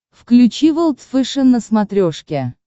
включи волд фэшен на смотрешке